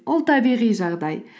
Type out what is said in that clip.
ол табиғи жағдай